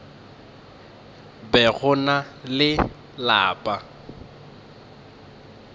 be go na le lapa